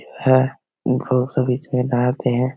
है बहुत से बीच में नहाते है।